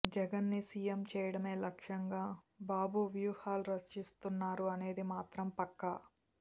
జగన్ ని సీఎం చేయడమే లక్ష్యంగా బాబు వ్యూహాలు రచిస్తున్నారు అనేది మాత్రం పక్కా